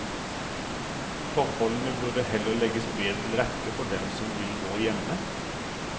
Forholdene burde heller legges bedre til rette for dem som vil gå hjemme.